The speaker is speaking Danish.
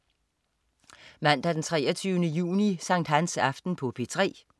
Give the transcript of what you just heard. Mandag den 23. juni. Sankthansaften - P3: